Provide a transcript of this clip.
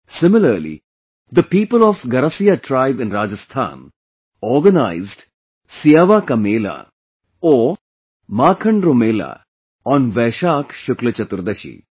Similarly, the people of Garasiya tribe in Rajasthan organize 'Siyawa ka Mela' or 'Mankhan Ro Mela' on Vaishakh Shukla Chaturdashi